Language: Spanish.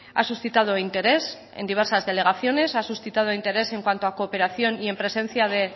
ha suscitado interés en diversas delegaciones ha suscitado interés en cuanto a cooperación y en presencia de